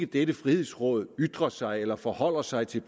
dette frihedsråd ytrer sig eller forholder sig til